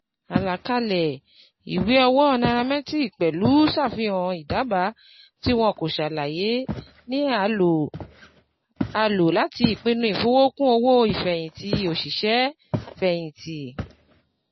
Àlàkalẹ̀ ìwé owó nairametrics pẹ̀lú ṣàfihàn ìdábàá tí wọn kò ṣàlàyé ni a lò a lò láti pinnu ìfowókún owó-ìfẹ̀yìntì òṣìṣẹ́-fẹ̀yìntì.